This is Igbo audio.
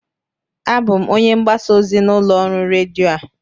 Abụ m onye mgbasa ozi n'ụlọ ọrụ redio a